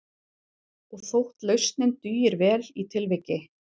Og þótt lausnin dugir vel í tilviki